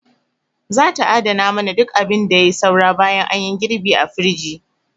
Za ta adana mana duk abin da yai saura bayan anyi girɓi a firij.